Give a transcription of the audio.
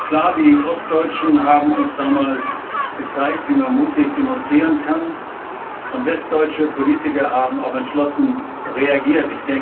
Klar, die Ostdeutschen haben uns damals gezeigt, wie man mutig demonstrieren kann, und westdeutsche Politiker haben auch entschlossen reagiert.